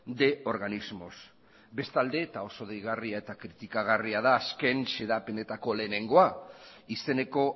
de organismos bestalde eta oso deigarria eta kritikagarria da azken xedapenetako lehenengoa izeneko